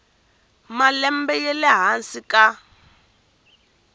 malembe ya le hansi ka